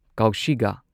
ꯀꯧꯁꯤꯒꯥ